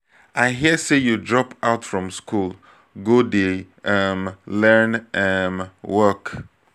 i hear say you drop out from school go dey um learn um work